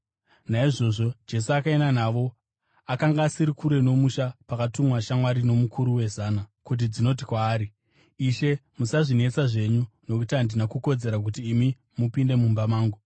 Naizvozvo Jesu akaenda navo. Akanga asiri kure nomusha pakatumwa shamwari nomukuru wezana kuti dzinoti kwaari, “Ishe, musazvinetsa zvenyu, nokuti handina kukodzera kuti imi mupinde mumba mangu.